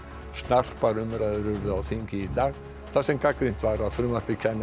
snarpar umræður urðu á þingi í dag þar sem gagnrýnt var að frumvarpið kæmi